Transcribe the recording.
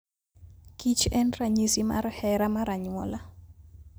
kich en ranyisi mar hera mar anyuola.